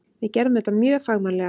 Við gerðum þetta mjög fagmannlega.